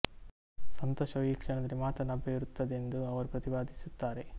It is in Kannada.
ಸಂತೋಷವು ಈ ಕ್ಷಣದಲ್ಲಿ ಮಾತ್ರ ಲಭ್ಯವಿರುತ್ತ ದೆಂದು ಅವರು ಪ್ರತಿಪಾದಿಸುತ್ತಾರೆ